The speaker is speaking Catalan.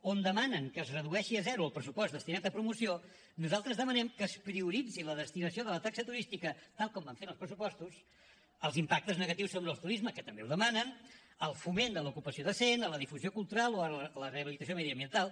on demanen que es redueixi a zero el pressupost destinat a promoció nosaltres demanem que es prioritzi la destinació de la taxa turística tal com van fer en els pressupostos als impactes negatius del turisme que també ho demanen al foment de l’ocupació decent a la difusió cultural o a la rehabilitació mediambiental